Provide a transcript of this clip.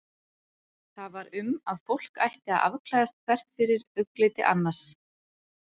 Það var um að fólk ætti að afklæðast hvert fyrir augliti annars.